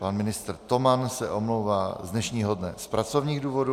Pan ministr Toman se omlouvá z dnešního dne z pracovních důvodů.